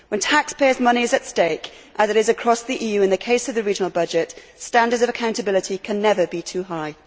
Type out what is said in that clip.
When taxpayers' money is at stake, as it is across the EU in the case of the regional budget, standards of accountability can never be too high.